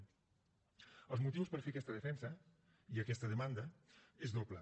el motiu per fer aquesta defensa i aquesta demanda és doble